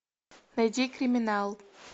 найди криминал